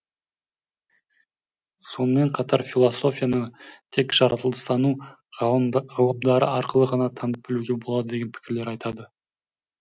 сонымен қатар философияны тек жаратылыстану ғылымдары арқылы ғана танып білуге болады деген пікірлер айтады